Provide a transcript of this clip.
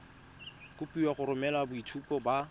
kopiwa go romela boitshupo ba